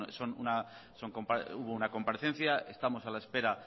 bueno hubo una comparecencia estamos a la espera